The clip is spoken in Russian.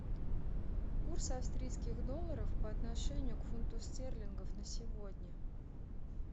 курс австрийских долларов по отношению к фунту стерлингов на сегодня